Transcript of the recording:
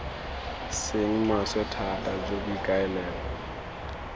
seng maswe thata jo boikaelelo